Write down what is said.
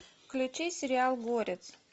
включи сериал горец